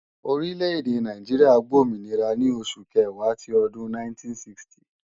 Orí lédè Nàìjíríà gbòmìnira ní oṣù Kẹ̀wá ti ọdún 1960